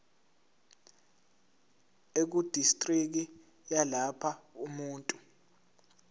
ekudistriki yalapho umuntu